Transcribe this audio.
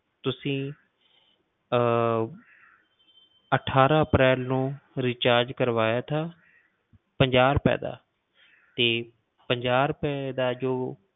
ਤੁਸੀਂ ਅਹ ਅਠਾਰਾਂ ਅਪ੍ਰੈਲ ਨੂੰ recharge ਕਰਵਾਇਆ ਥਾ ਪੰਜਾਹ ਰੁਪਏ ਦਾ ਤੇ ਪੰਜਾਹ ਰੁਪਏ ਦਾ ਜੋ